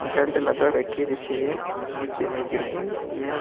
Belt लगा रखी है जिससे ये नीचे नहीं गिर जाए। यह --